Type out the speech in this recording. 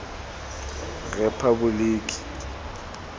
repaboliki